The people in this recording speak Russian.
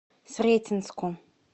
сретенску